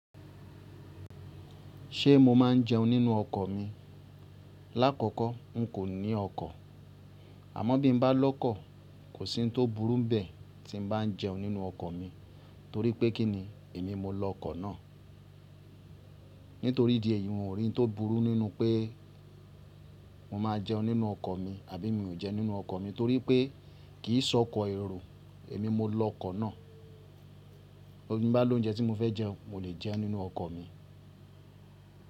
Ṣé mo máa ń jẹun nínú ọkọ̀ mi? Làkọ́kọ́ n kò ní ọkọ̀, àmọ́ bí m bá lọ́kọ̀ kò sí'hun tó burú n bẹ̀ tí m bá ń jẹun nínú ọkọ̀ mi torí pé kí ni èmi mo lọ'kọ̀ náà. Nítorí idi èyí n ò rí ohun tó burú nínú pé mo ma jẹun nínú ọkọ̀ mi àbí mi ò jẹ nínú ọkọ̀ mi torií pé kìi ṣọ́kọ èrò èmi mo lọkọ̀ náà. Ti n bá lóúnjẹ tí mo fẹ́ jẹ, mo lè jẹe nínú ọkọ̀ mi.